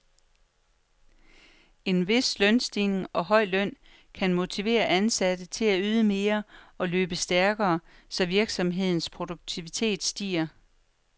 En vis lønstigning og høj løn kan motivere ansatte til at yde mere og løbe stærkere, så virksomhedens produktivitet stiger.